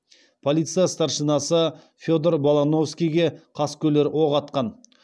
полиция старшинасы федор балановскийге қаскөйлер оқ атқан